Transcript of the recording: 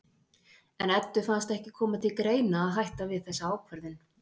En Eddu fannst ekki koma til greina að hætta við þessa ákvörðun.